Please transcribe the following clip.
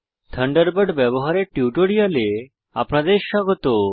Thunderbird ব্যবহারের টিউটোরিয়ালে আপনাদের স্বাগত